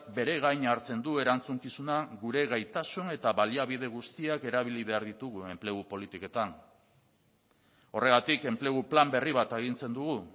bere gain hartzen du erantzukizuna gure gaitasun eta baliabide guztiak erabili behar ditugu enplegu politiketan horregatik enplegu plan berri bat agintzen dugu